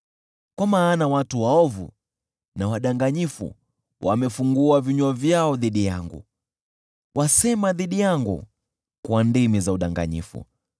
kwa maana watu waovu na wadanganyifu wamefungua vinywa vyao dhidi yangu; wasema dhidi yangu kwa ndimi za udanganyifu.